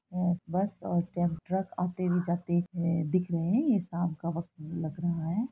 हैं बस और ट्रक आए-जाते हुए दिख रहे हैं| यह शाम का वक्त भी लग रहा है।